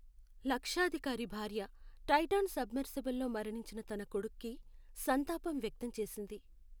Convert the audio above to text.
లక్షాధికారి భార్య Titan submersible లో మరణించిన తన కొడుక్కి సంతాపం వ్యక్తం చేసింది.